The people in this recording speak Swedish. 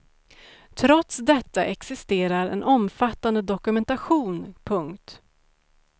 Trots detta existerar en omfattande dokumentation. punkt